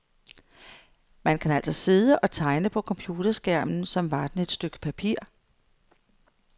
Man kan altså sidde og tegne på computerskærmen, som var den et stykke papir.